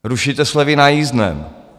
Rušíte slevy na jízdném.